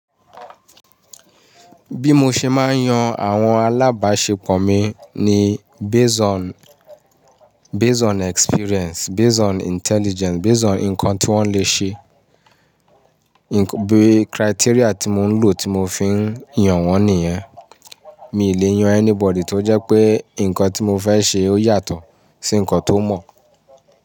Bí mo ṣe máa ń yan àwọn alábáṣepọ̀ mi ni based on, based on experience, based on intelligence, based on nǹkan tí wọ́n lè ṣe. Be criteria tí mo ń lò tí mo fi ń yàn wọ́n nìyẹn. Mí ì lè yan anybody tó jẹ́ pé nǹkan tí mo fẹ́ ṣe ó yàtọ̀ sí nǹkan tó mọ̀.